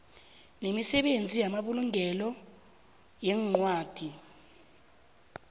nemisebenzi yamabulungelo weencwadi